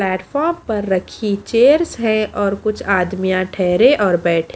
platform पर रखी chairs है और कुछ आदमिया ठहरे और बैठे --